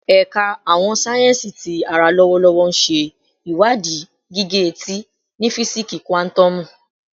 Ẹka Awọn sáyẹnsì Ti ara lọwọlọwọ nṣe iwadii gige-eti ni fisiksi kuatomu